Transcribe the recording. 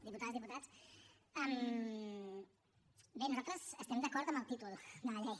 diputades diputats bé nosaltres estem d’acord amb el títol de la llei